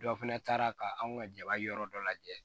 Dɔ fana taara ka anw ka jaba yɔrɔ dɔ lajɛ